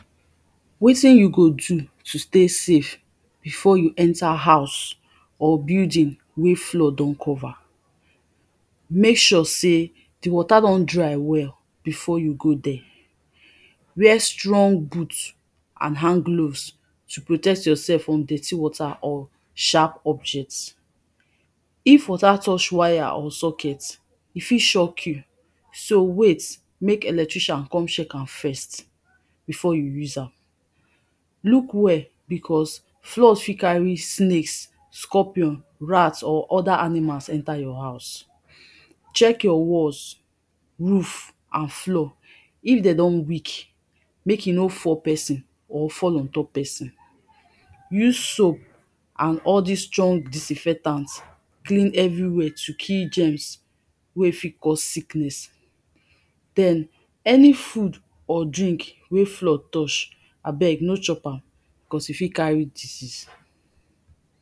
Wetin you go do to stay safe before you enter house or building wey flood don cover, make sure sey di water don dry well before you go dere, wear strong boot and handgloves to protect yourself from dirty water and sharp objects. If water touch wire or socket e fit shoke you so wait make electrician come check am first before you use am, look well becos flood fot carry snakes, scorpion, rat or oda animals enter your house. Check your walls, roof and floor if dem don weak make e no fall pesin or fall ontop pesin. Use soap and all dis strong disinfectant clean every where to kill germs wey fit cos sickness, den any food or drink wey flood touch abeg no chop am becos e fit carry disease.